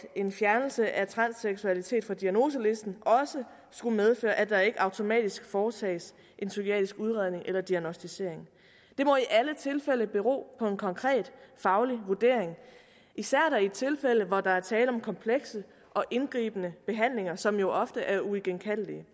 en fjernelse af transseksualitet fra diagnoselisten også skulle medføre at der ikke automatisk foretages en psykiatrisk udredning eller diagnosticering det må i alle tilfælde bero på en konkret faglig vurdering især i tilfælde hvor der er tale om komplekse og indgribende behandlinger som jo ofte er uigenkaldelige